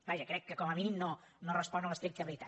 vaja crec que com a mínim no respon a l’estricta veritat